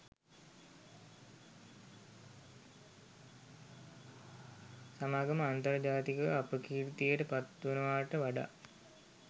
සමාගම අන්තර්ජාතිකව අපකීර්තියට පත්වෙනවට වඩා